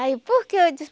Aí por que eu disse?